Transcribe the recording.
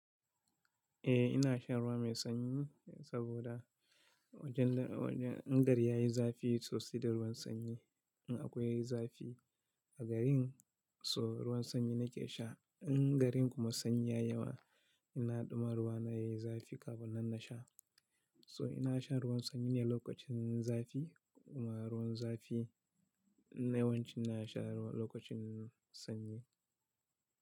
Eh ina shan ruwa mai sanyi saboda wajen, wajen in gari yayi zafi sosai da ruwan sanyi. In akwai zafi a garin so ruwan sanyi nake sha. In garin kuma sanyi ya yawa ina ɗuma ruwa na yayi zafi kafin nan na sha. So ina sha ruwan sanyi ne lokacin zafi kuma ruwan zafi na yawanci ina sha lokacin sanyi.